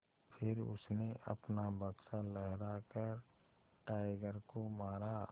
फिर उसने अपना बक्सा लहरा कर टाइगर को मारा